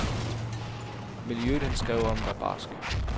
Miljøet, han skrev om, var barsk.